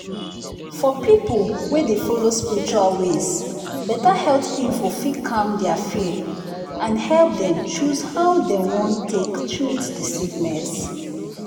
for people wey dey follow spiritual ways better health info fit calm their fear and help dem choose how dem wan take treat the sickness.